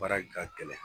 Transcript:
Baara ka gɛlɛn